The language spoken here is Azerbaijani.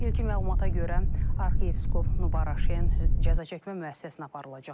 İlkin məlumata görə, arxiyepiskop Nubar Aşen cəzaçəkmə müəssisəsinə aparılacaq.